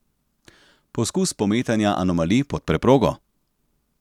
Poskus pometanja anomalij pod preprogo?